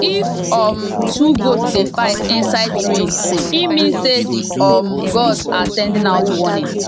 if um two goat dey fight inside rain e mean say the um gods are sending out warning